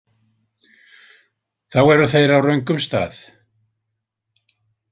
Þá eru þeir á röngum stað.